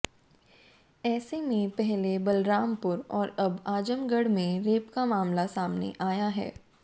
ऐसे में पहले बलरामपुर और अब आजमगढ़ में रेप का मामला सामने आया है